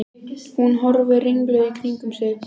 Hún horfir ringluð í kringum sig.